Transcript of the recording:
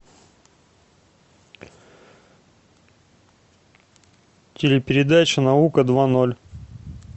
телепередача наука два ноль